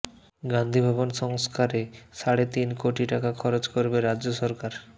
গান্ধীভবন সংস্কারে সাড়ে তিন কোটি টাকা খরচ করবে রাজ্য সরকার